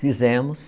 Fizemos.